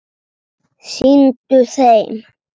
Sýndu þeim!